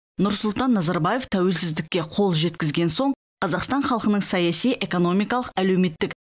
нұрсұлтан назарбаев тәуелсіздікке қол жеткізген соң қазақстан халқының саяси экономикалық әлеуметтік